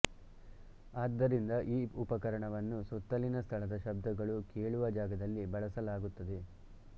ಆದ್ದರಿಂದ ಈ ಉಪಕರಣವನ್ನು ಸುತ್ತಲಿನ ಸ್ಥಳದ ಶಬ್ದಗಳು ಕೇಳುವ ಜಾಗದಲ್ಲಿ ಬಳಸಲಾಗುತ್ತದೆ